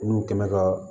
Olu kɛn bɛ ka